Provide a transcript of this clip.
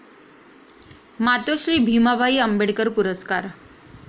मातोश्री भीमाबाई आंबेडकर पुरस्कार